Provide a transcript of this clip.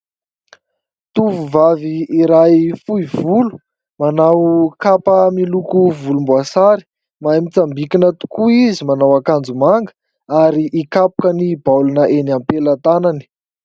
Tovovavy iray fohy volo manao kapa miloko volomboasary mahay mitsambikina tokoa izy. Manao akanjo manga ary hikapoka ny baolina enỳ ampelantanany.